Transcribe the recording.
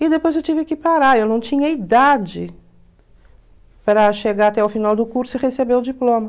E depois eu tive que parar, eu não tinha idade para chegar até o final do curso e receber o diploma.